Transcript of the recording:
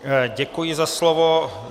Děkuji za slovo.